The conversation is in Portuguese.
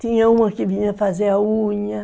Tinha uma que vinha fazer a unha...